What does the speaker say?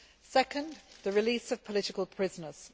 Second the release of political prisoners.